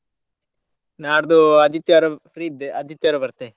ನಾಡ್ದು ಆದಿತ್ಯವಾರ free ಇದ್ದೆ ಆದಿತ್ಯವಾರ ಬರ್ತೆ.